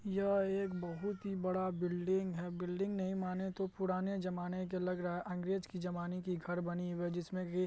यह एक बहुत ही बड़ा बिल्डिंग है बिल्डिंग नहीं माने तो पुराने जमाने के लग रहा है अंग्रेज के जमाने की घर बनी है जिसमे की --